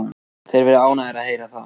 Þeir verða ánægðir að heyra það.